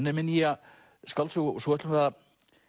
er með nýja skáldsögu svo ætlum við að